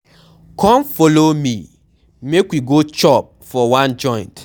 Come follow me make we go chop for one joint.